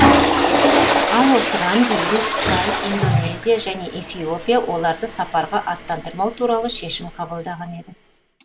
ал осыған дейін қытай индонезия және эфиопия оларды сапарға аттандырмау туралы шешім қабылдаған еді